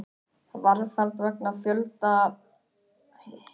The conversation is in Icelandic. Varðhald vegna fjölda auðgunarbrota